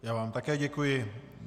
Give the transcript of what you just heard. Já vám také děkuji.